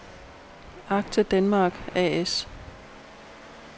Acte Denmark A/S